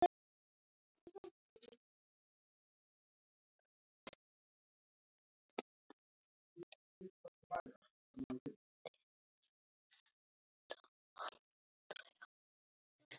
Ég reyndi þetta aldrei aftur.